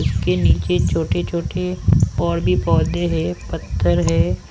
उसके नीचे छोटे-छोटे और भी पौधे हैं पत्थर है।